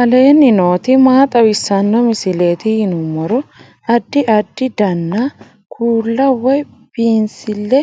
aleenni nooti maa xawisanno misileeti yinummoro addi addi dananna kuula woy biinsille